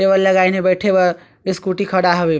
Table लगानी हे बैठे बर स्कूटी खड़ा हवे।